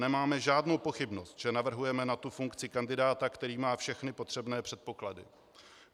Nemáme žádnou pochybnost, že navrhujeme na tu funkci kandidáta, který má všechny potřebné předpoklady.